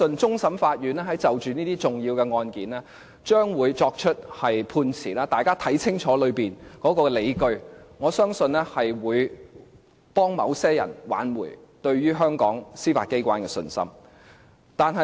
終審法院將會就着一些重大的案件作出判詞，請大家看清楚當中的理據，我相信是能挽回某些人對於香港司法機關的信心的。